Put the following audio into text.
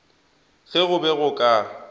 ge go be go ka